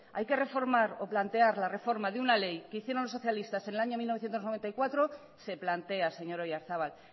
hay que reformar o plantear la reforma de una ley que hicieron los socialistas en el año mil novecientos noventa y cuatro se plantea señor oyarzabal